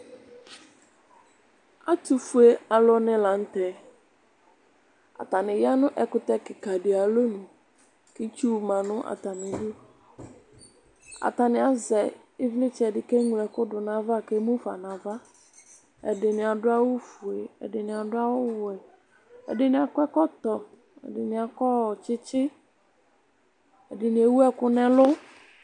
Ɛtʋfue aluni la nʋ tɛ Atani ya nʋ ɛkʋtɛ kikadi ayʋ alɔnʋ, kʋ itsu ma nʋ atami ɩdʋ Atani azɛ ivlitsɛdɩ kʋ eŋloɛkʋ du nʋ ayava, kʋ emufa nʋ ava Ɛdɩnɩ adu awufue, ɛdɩnɩ adu awuwɛ, ɛdɩnɩ akɔ ɛkɔtɔ, ɛdɩnɩ akɔ tsɩtsɩ, ɛdɩnɩ ewu ɛkʋ nʋ ɛlʋ